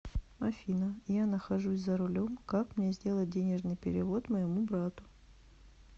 афина я нахожусь за рулем как мне сделать денежный перевод моему брату